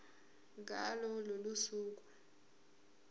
ngalo lolo suku